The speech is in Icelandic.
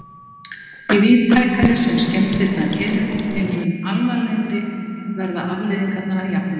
Því víðtækari sem skemmdirnar eru, þeim mun alvarlegri verða afleiðingarnar að jafnaði.